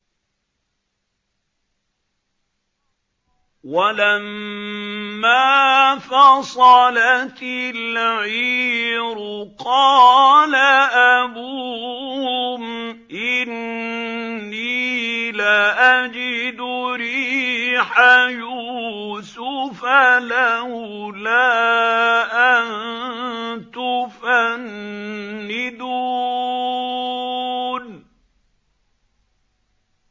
وَلَمَّا فَصَلَتِ الْعِيرُ قَالَ أَبُوهُمْ إِنِّي لَأَجِدُ رِيحَ يُوسُفَ ۖ لَوْلَا أَن تُفَنِّدُونِ